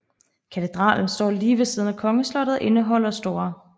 Katedralen står lige ved siden af kongeslottet og indeholder St